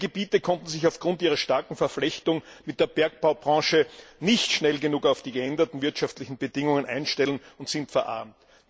Viele Gebiete konnten sich aufgrund ihrer starken Verflechtung mit der Bergbaubranche nicht schnell genug auf die geänderten wirtschaftlichen Bedingungen einstellen und sind verarmt.